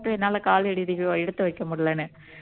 என்னால காலடி எடுத்து வைக்க முடியலைன்னு